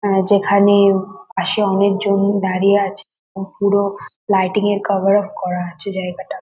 আ যেখানে পাশে অনেকজন দাঁড়িয়ে আছে পু পুরো লাইটিং -এ কভার আপ করা আছে জায়গাটা।